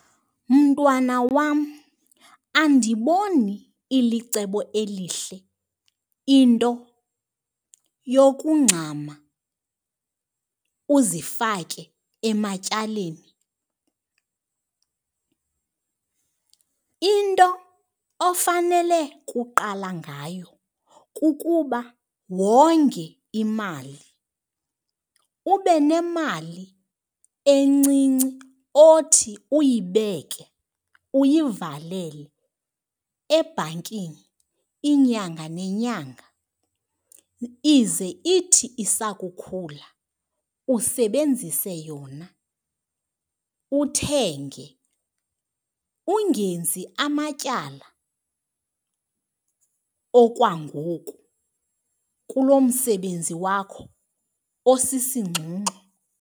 Mntwana wam, andiboni ilicebo elihle into yokungxama uzifake ematyaleni. Into ofanele kuqala ngayo kukuba wonge imali. Ube nemali encinci othi uyibeke, uyivalele ebhankini inyanga nenyanga, ize ithi isakukhula usebenzise yona uthenge. Ungenzi amatyala okwangoku kulo msebenzi wakho osisingxungxu.